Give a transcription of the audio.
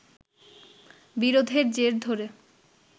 বিরোধের জের ধরে